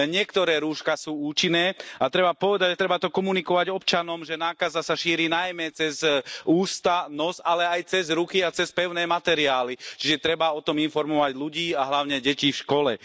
Len niektoré rúška sú účinné, a treba povedať a treba to komunikovať občanom, že nákaza sa šíri najmä cez ústa, nos ale aj cez ruky a cez pevné materiály, čiže treba o tom informovať ľudí a hlavne deti v škole.